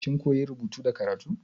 Kin koya rubutu da karatu?